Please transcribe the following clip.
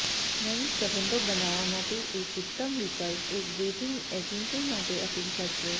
નવી સંબંધો બનાવવા માટે એક ઉત્તમ વિકલ્પ એક ડેટિંગ એજન્સી માટે અપીલ કરશે